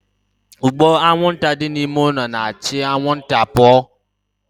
Ụgbụ anwụnta dị n'ime ime ụlọ na-achụ anwụnta pụọ